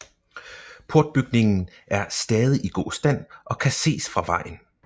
Portbygningen er stadig i god stand og kan ses fra vejen